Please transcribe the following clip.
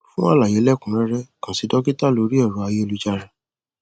fún àlàyé lẹkùnun rẹrẹ kàn sí dọkítà lórí ẹrọ ayélujára